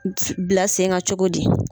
Bila sen kan cogo di?